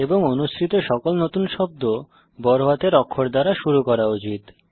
এবং অনুসৃত সকল নতুন শব্দ বড় হাতের অক্ষর দ্বারা শুরু করা উচিত